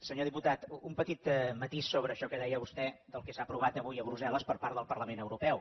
senyor diputat un petit matís sobre això que deia vostè del que s’ha aprovat avui a brussel·les per part del parlament europeu